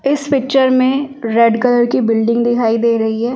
इस पिक्चर में red colour की बिल्डिंग दिखाई दे रही है ।